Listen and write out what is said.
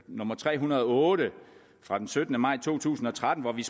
nummer tre hundrede og otte fra den syttende maj to tusind og tretten hvor vi